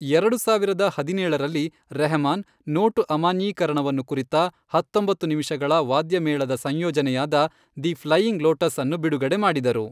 ಎರಡು ಸಾವಿರದ ಹದಿನೇಳರಲ್ಲಿ, ರೆಹಮಾನ್, ನೋಟು ಅಮಾನ್ಯೀಕರಣವನ್ನು ಕುರಿತ, ಹತ್ತೊಂಬತ್ತು ನಿಮಿಷಗಳ ವಾದ್ಯಮೇಳದ ಸಂಯೋಜನೆಯಾದ, ದಿ ಫ್ಲೈಯಿಂಗ್ ಲೋಟಸ್ ಅನ್ನು ಬಿಡುಗಡೆ ಮಾಡಿದರು.